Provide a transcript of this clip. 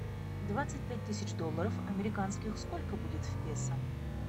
двадцать пять тысяч долларов американских сколько будет в песо